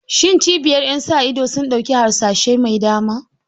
Shin cibiyar ƴan sa ido sun ɗauki harsashai mai dama?